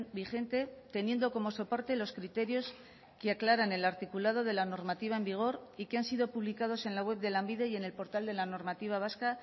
vigente teniendo como soporte los criterios que aclaran el articulado de la normativa en vigor y que han sido publicados en la web de lanbide y en el portal de la normativa vasca